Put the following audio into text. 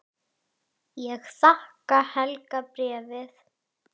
Er það bréfað?